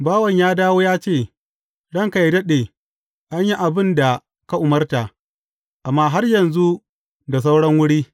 Bawan ya dawo ya ce, Ranka yă daɗe, an yi abin da ka umarta, amma har yanzu da sauran wuri.’